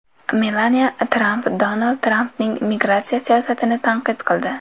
Melaniya Tramp Donald Trampning migratsiya siyosatini tanqid qildi.